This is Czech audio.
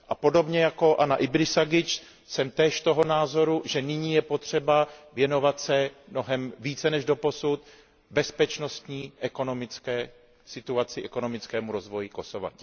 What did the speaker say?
A podobně jako Anna Ibrisagic jsem též toho názoru, že nyní je potřeba věnovat se mnohem více než doposud bezpečnostní, ekonomické situaci, ekonomickému rozvoji Kosova.